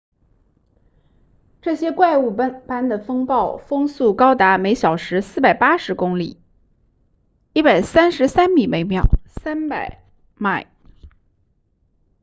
这些怪物般的风暴风速高达每小时480公里133 m/s 300 mph